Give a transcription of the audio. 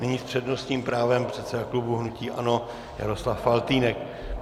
Nyní s přednostním právem předseda klubu hnutí ANO Jaroslav Faltýnek.